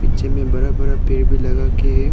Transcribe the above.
जिनमें में बरा बरा पेर भी लगा के है।